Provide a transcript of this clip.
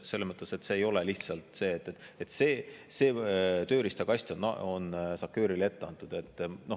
Selles mõttes, et see tööriistakast on SACEUR-ile ette antud.